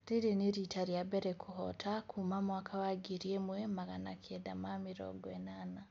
Rĩrĩ nĩ rita rĩambere kũhota kuma mwaka wa ngiri ĩmwe magana kenda ma mĩrongo inana